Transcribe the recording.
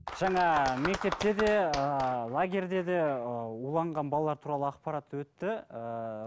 жаңа мектепте де ыыы лагерьде де ыыы уланған балалар туралы ақпарат өтті ыыы